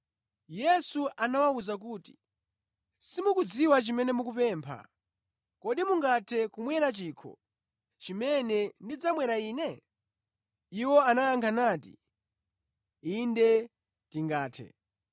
Yesu anawawuza kuti, “Simukudziwa chimene mukupempha. Kodi mungathe kumwera chikho chimene ndidzamwera Ine?” Iwo anayankha nati, “Inde tingathe.”